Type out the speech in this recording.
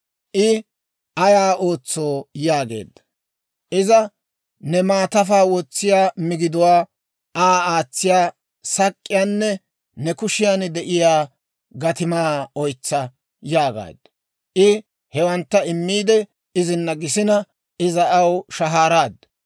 I, «Ayaa ootsoo?» yaageedda. Iza, «Ne maatafaa wotsiyaa migiduwaa, Aa aatsiyaa sak'k'iyaanne ne kushiyaan de'iyaa gatimaa oytsa» yaagaaddu. I hewantta immiide, izina gisina, iza aw shahaaraaddu.